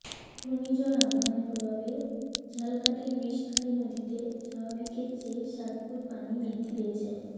ঘূর্ণিঝড় আম্ফানের প্রভাবে ঝালকাঠির বিষখালী নদীতে স্বাভাবিকের চেয়ে সাত ফুট পানি বৃদ্ধি পেয়েছে